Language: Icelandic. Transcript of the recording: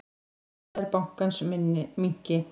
Hagnaður bankans minnki.